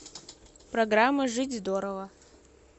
программа жить здорово